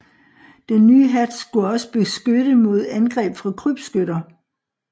Den nye hat skulle også beskytte mod angreb fra krybskytter